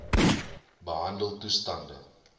behandeltoestande